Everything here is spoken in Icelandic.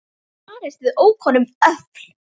Barist við ókunn öfl